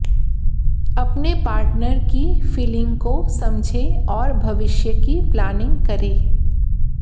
अपने पार्टनर की फिलिंग को समझें और भविष्य की प्लानिंग करें